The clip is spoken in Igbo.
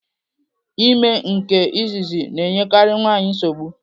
Ime nke izizi na-enyekari nwaanyị nsogbu.